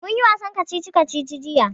Mun yi wasan kacici-kacici jiya